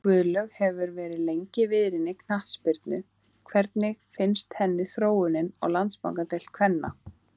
Guðlaug hefur verið lengi viðriðin knattspyrnu hvernig finnst henni þróunin á Landsbankadeild kvenna?